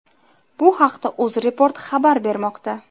Bu haqda Uzreport xabar bermoqda .